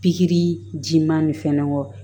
Pikiri jiman nin fɛnnen kɔ